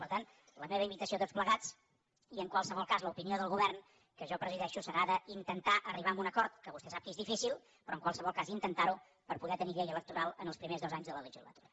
per tant la meva invitació a tots plegats i en qualsevol cas l’opinió del govern que jo presideixo serà d’intentar arribar a un acord que vostè sap que és difícil però en qualsevol cas intentar ho per poder tenir llei electoral en els primers dos anys de la legislatura